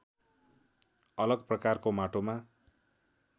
अलग प्रकारको माटोमा